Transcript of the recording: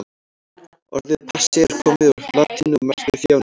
Orðið passía er komið úr latínu og merkir þjáning.